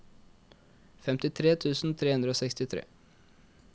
femtitre tusen tre hundre og sekstitre